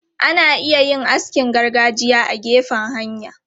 Ana iya yin askin gargajiya a gefen hanya.